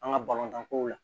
An ka balontan kow la